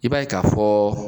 I b'a ye ka fɔ